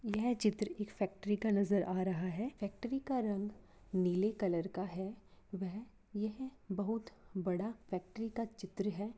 यह चित्र एक फैक्ट्री का नजर आ रहा है फैक्ट्री का रंग नीले कलर का है वह यह बहुत बड़ा फैक्ट्री का चित्र है।